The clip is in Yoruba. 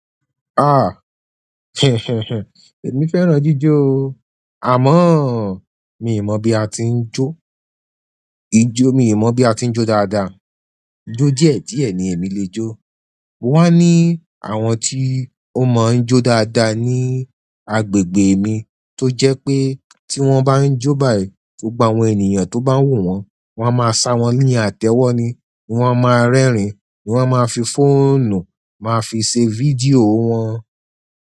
Ah, èmi fẹ́ràn jíjó o. Àmọ́ mi mọ̀ bí a ti ń jó. Ijó mi ò mọ̀ bí a ti ń jó dáadáa. Jó díẹ̀ diẹ ni èmi lè jó. Mo wá ní àwọn tí ó mọ ń jó dáadáa ní agbègbè mi tó jẹ́ pé tí wọ́n bá ń jó báyìí tó gba àwọn ènìyàn tó bá wò wọ́n, wọ́n á máa sá wọ́n ní àtẹ́wọ́ ni, wọ́n á máa rẹ́rìn-ín, wọ́n á máa fi fóònù máa fi ṣe fídíò wọn.